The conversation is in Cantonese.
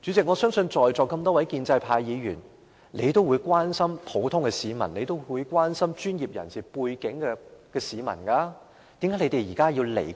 我相信在座眾多建制派議員都關心普通市民及專業人士，為何現在置他們於不顧？